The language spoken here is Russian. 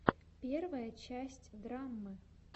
первая часть драммы